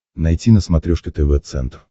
найти на смотрешке тв центр